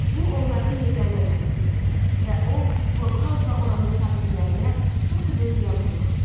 Bu onların yeganə mərmisi idi və o, blokhausla oranı sakinlərə çox da böyük ziyan vurmadı.